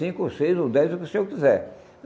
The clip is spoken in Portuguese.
Cinco ou seis ou dez, o que o senhor quiser.